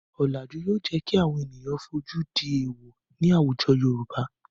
Ọ̀làjú yóò jẹ́ kí àwọn ènìyàn fojú di èwọ̀ ní àwùjọ Yorùbá.